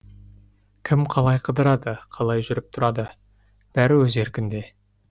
кім қалай қыдырады қалай жүріп тұрады бәрі өз еркінде